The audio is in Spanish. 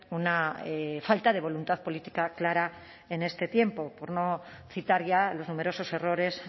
una falta de voluntad política clara en este tiempo por no citar ya los numerosos errores